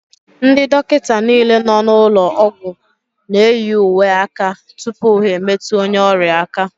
Ndị dọkịta nile nọ n'ụlọ ọgwụ n'eyi uwe aka tụpụ ha emetụ onye ọrịa aka.